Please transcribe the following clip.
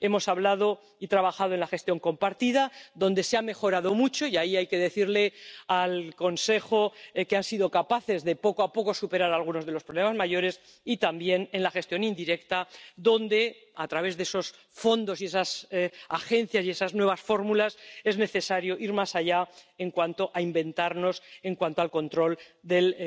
Hemos hablado y trabajado en la gestión compartida, donde se ha mejorado mucho —hay que decirle al Consejo que ha sido capaz de, poco a poco, superar algunos de los problemas mayores—, y también en la gestión indirecta, donde, a través de esos fondos, esas agencias y esas nuevas fórmulas, es necesario ir más allá en cuanto a inventarnos y en cuanto al control del